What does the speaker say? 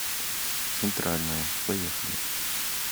центральное поехали